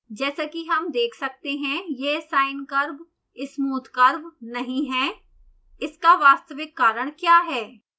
जैसा कि हम देख सकते हैं यह sine curve smooth curve नहीं है इसका वास्तविक कारण क्या है